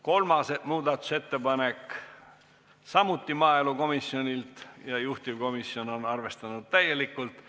Kolmas muudatusettepanek on samuti maaelukomisjonilt ja juhtivkomisjon on seda arvestanud täielikult.